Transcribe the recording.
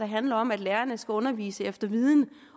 handler om at lærerne skal undervise efter viden